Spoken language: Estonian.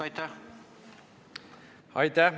Aitäh!